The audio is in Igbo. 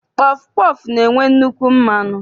Pọfụ pọọfụ na-enwe nnukwu mmanụ.